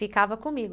Ficava comigo.